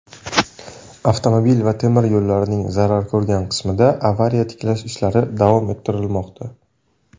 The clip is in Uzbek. avtomobil va temir yo‘llarining zarar ko‘rgan qismida avariya-tiklash ishlari davom ettirilmoqda.